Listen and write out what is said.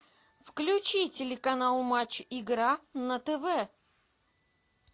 включи телеканал матч игра на тв